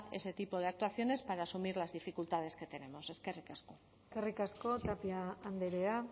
ese tipo de actuaciones para asumir las dificultades que tenemos eskerrik asko eskerrik asko tapia andrea